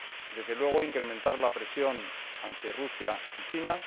Desde luego incrementar la presión ante Rusia y China.